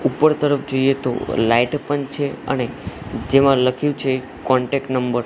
ઉપર તરફ જોઈએ તો લાઇટ પણ છે અને જેમાં લખ્યુ છે કોન્ટેક્ટ નંબર .